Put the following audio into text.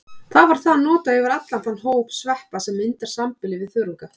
Þar var það notað yfir allan þann hóp sveppa sem myndar sambýli við þörunga.